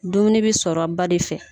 Dumuni bi sɔrɔ ba de fɛ.